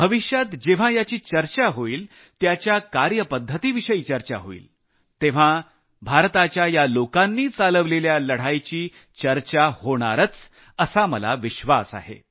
भविष्यात जेव्हा याची चर्चा होईल त्याच्या कार्यपद्धतीविषयी चर्चा होईल तेव्हा भारताच्या या लोकांनी चालवलेल्या लढाईची चर्चा होणारच असा मला विश्वास आहे